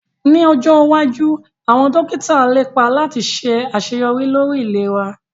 Ní ọjọ́ iwájú àwọn dókítà lépa láti ṣe àṣeyọrí lórí ìlera